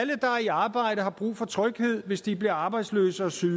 i arbejde har brug for tryghed hvis de bliver arbejdsløse og syge